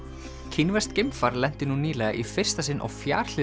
kínverskt geimfar lenti nú nýlega í fyrsta sinn á